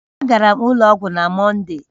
Agara m ụlọ ọgwụ na Mọnde